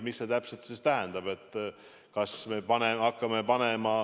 Mis see täpselt siis tähendab?